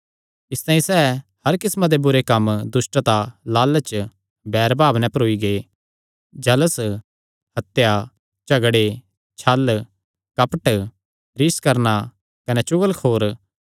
इसतांई सैह़ हर किस्मां दे बुरे कम्म दुष्टता लालच बैरभाव नैं भरोई गै जल़स हत्या झगड़े छल कपट रिस करणा कने चुगलखोर